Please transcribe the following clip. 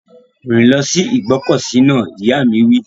Rìn lọ sí ìgbọ́kọ̀sí náà! Ìyá mi wí.